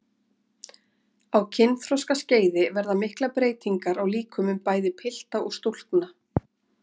Á kynþroskaskeiði verða miklar breytingar á líkömum bæði pilta og stúlkna.